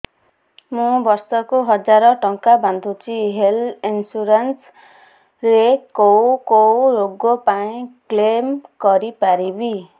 ମୁଁ ବର୍ଷ କୁ ହଜାର ଟଙ୍କା ବାନ୍ଧୁଛି ହେଲ୍ଥ ଇନ୍ସୁରାନ୍ସ ରେ କୋଉ କୋଉ ରୋଗ ପାଇଁ କ୍ଳେମ କରିପାରିବି